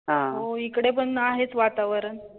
हो इकडे पण आहेच वातावरण.